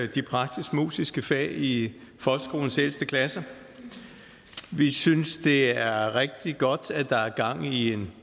de praktisk musiske fag i folkeskolens ældste klasser vi synes det er rigtig godt at der er gang i en